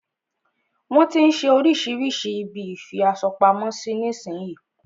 Wọn tí ń ṣe oríṣirísi ibi ìfi aṣo pamo sí nísin yí.